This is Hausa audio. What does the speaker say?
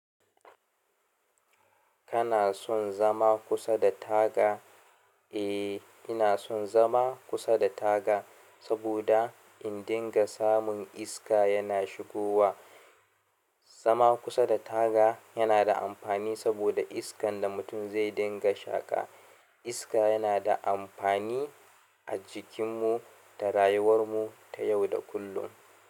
Kana son zama kusa da taga? Eh, ina son zama kusa da taga saboda in dinga samun iska yana shigowa. Zama kusa da taga yana da amfani saboda iskan da mutum zai dinga shaƙa. Iska yana da amfani a jikinmu da rayuwarmu ta yau da kullum.